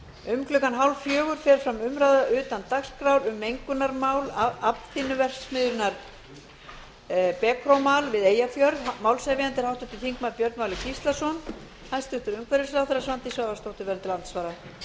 um klukkan hálffjögur fer fram umræða utan dagskrár um mengunarmál aflþynnuverksmiðjunnar becromal við eyjafjörð málshefjandi er háttvirtur þingmaður björn valur gíslason hæstvirtur umhverfisráðherra svandís svavarsdóttir verður til andsvara umræðan